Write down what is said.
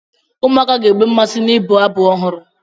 Ụmụaka ga-enwe mmasị n'ịbụ abụ ọhụrụ.